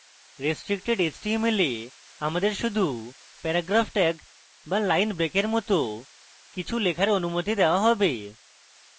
restricted html a আমাদের শুধু paragraph tag be line breaks মত কিছু লেখার অনুমতি দেওয়া হবে